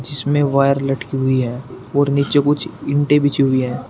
जिसमे वायर लटकी हुई है और नीचे कुछ ईंटे बिछी हुई है।